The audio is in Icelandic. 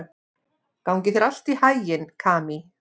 Gangi þér allt í haginn, Kamí.